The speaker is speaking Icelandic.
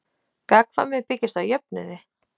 Gagnkvæmni byggist á jöfnuði.